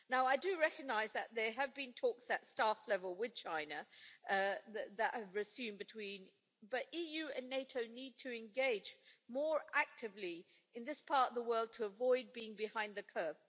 I do recognise that there have been talks at staff level with China that have resumed, but the EU and NATO need to engage more actively in this part of the world to avoid being behind the curve.